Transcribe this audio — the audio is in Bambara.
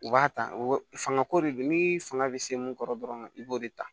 U b'a ta fangako de do ni fanga bɛ se mun kɔrɔ dɔrɔn i b'o de ta